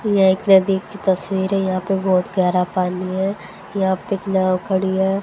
यह एक नदी की तस्वीरें है यहां पे बहोत गहरा पानी है यहां पे एक नाव खड़ी है।